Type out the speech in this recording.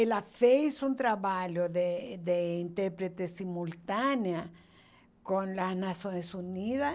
Ela fez um trabalho de de intérprete simultânea com as Nações Unidas.